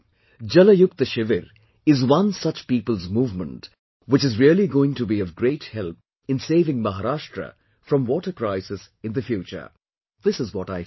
'Jal Yukt Shivir' is one such people's movement which is really going to be of great help in saving Maharashtra from water crisis in the future this is what I feel